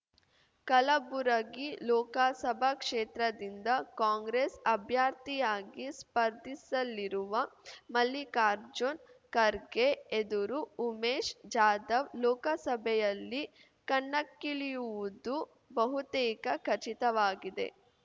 ಕಲಬುರಗಿ ಲೋಕಸಭಾ ಕ್ಷೇತ್ರದಿಂದ ಕಾಂಗ್ರೆಸ್ ಅಭ್ಯರ್ಥಿಯಾಗಿ ಸ್ಪರ್ಧಿಸಲಿರುವ ಮಲ್ಲಿಕಾರ್ಜುನ್ ಖರ್ಗೆ ಎದುರು ಉಮೇಶ್ ಜಾಧವ್ ಲೋಕಸಭೆಯಲ್ಲಿ ಕಣಕ್ಕಿಳಿಯುವುದು ಬಹುತೇಕ ಖಚಿತವಾಗಿದೆ